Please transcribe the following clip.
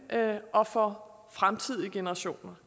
og for fremtidige generationer